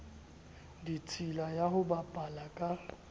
ditshila ya ho bapala ka